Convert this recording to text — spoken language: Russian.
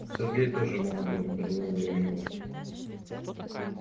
сергей тоже молодой прервала я его